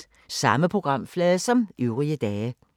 Samme programflade som øvrige dage